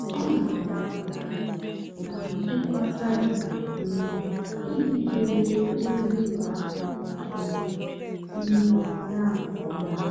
ọ́ nà-àgá ógbákó nà nchèkwà cybér um ìjì chèbé ózì ùlọ àkụ́ um um yá nkè ọ́mà.